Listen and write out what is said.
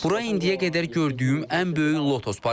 Bura indiyə qədər gördüyüm ən böyük lotus parkıdır.